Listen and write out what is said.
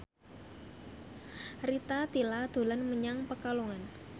Rita Tila dolan menyang Pekalongan